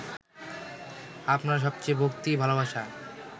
আপনার সবচেয়ে ভক্তি-ভালোবাসা